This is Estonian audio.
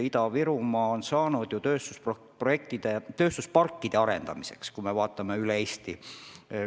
Kui me vaatame üle Eesti, siis riik on tööstusparke toetanud 60 miljoniga.